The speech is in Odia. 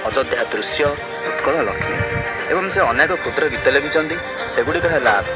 ଅଯୋଧ୍ୟା ଦୃଶ୍ୟ ଉତ୍କଳ ଏବଂ ସେ ଅନେକ କ୍ଷୁଦ୍ର ଗୀତ ଲେଖିଛନ୍ତି ସେଗୁଡିକ ହେଲା --